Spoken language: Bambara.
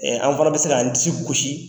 An fana bɛ se kan disi gosi.